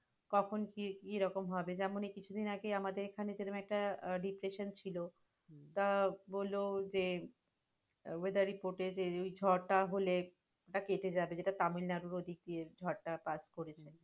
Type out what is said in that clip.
কখন কি রকম হবে? যেমন এই কিছু দিন আগে আমাদের এখানে যেরাম একটা refresation ছিল, তা বলল যে weather report এ যে ওই ঝড়টা হলে ওটা কেটে যাবে, যেটা তামিল-নাড়ুর ঐদিক দিয়ে ঝড়টা pass করেছে।